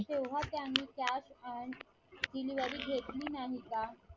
तेव्हा त्यांनी Cash And delivery घेतली नाही का?